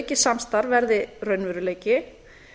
aukið samstarf verði raunveruleiki